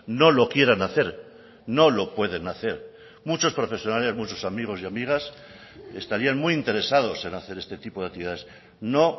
no lo quieran hacer no lo pueden hacer muchos profesionales muchos amigos y amigas estarían muy interesados en hacer este tipo de actividades no